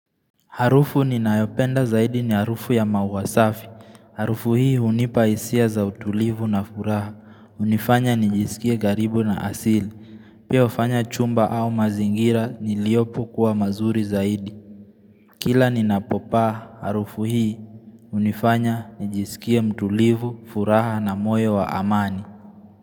Harufu ninayopenda zaidi ni harufu ya maua safi. Harufu hii unipa isia za utulivu na furaha. Unifanya nijisikie garibu na asili. Pia ufanya chumba au mazingira niliopo kuwa mazuri zaidi. Kila ni napopaa harufu hii. Unifanya nijisikia mtulivu, furaha na moyo wa amani.